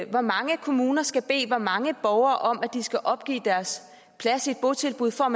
hvor mange kommuner skal bede hvor mange borgere om at de skal opgive deres plads i et botilbud for